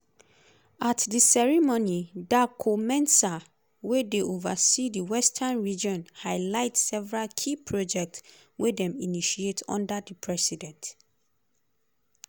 at di ceremony darko-mensah wey dey ova see di western region highlight several key projects wey dem initiate under di president.